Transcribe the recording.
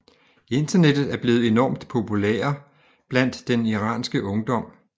Internettet er blevet enormt populære blandt den iranske ungdom